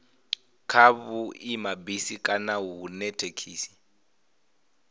kha vhuimabisi kana hune thekhisi